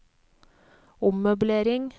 ommøblering